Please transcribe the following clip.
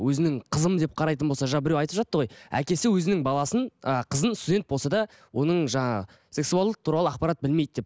өзінің қызым деп қарайтын болса жаңа біреу айтып жатты ғой әкесі өзінің баласын ыыы қызын студент болса да оның жаңағы сексуалды туралы ақпарат білмейді деп